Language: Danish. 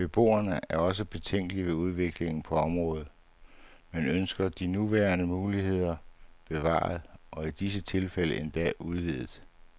Beboerne er også betænkelige ved udviklingen på området, men ønsker de nuværende muligheder bevaret, og i visse tilfælde endda udvidet.